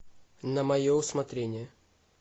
на мое усмотрение